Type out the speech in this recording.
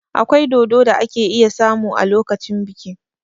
Akwai dodo da ake iya samu a lokacin biki.